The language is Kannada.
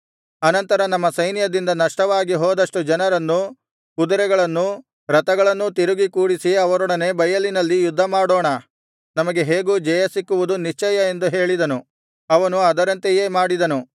ಅನಂತರ ನಮ್ಮ ಸೈನ್ಯದಿಂದ ನಷ್ಟವಾಗಿ ಹೋದಷ್ಟು ಜನರನ್ನು ಕುದುರೆಗಳನ್ನೂ ರಥಗಳನ್ನೂ ತಿರುಗಿ ಕೂಡಿಸಿ ಅವರೊಡನೆ ಬಯಲಿನಲ್ಲಿ ಯುದ್ಧಮಾಡೋಣ ನಮಗೆ ಹೇಗೂ ಜಯಸಿಕ್ಕುವುದು ನಿಶ್ಚಯ ಎಂದು ಹೇಳಿದನು ಅವನು ಅದರಂತೆಯೇ ಮಾಡಿದನು